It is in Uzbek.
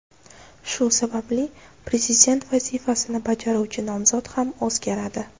Shu sababli prezident vazifasini bajaruvchi nomzod ham o‘zgaradi.